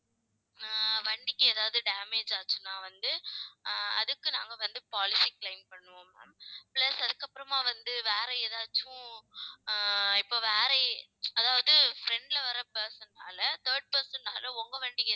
ஆஹ் வண்டிக்கு ஏதாவது damage ஆச்சுனா வந்து, ஆஹ் அதுக்கு நாங்க வந்து, policy claim பண்ணுவோம் ma'am plus அதுக்கு அப்புறமா வந்து, வேற ஏதாச்சும் ஆஹ் இப்ப வேற அதாவது front ல வர person னால third person னால உங்க வண்டிக்கு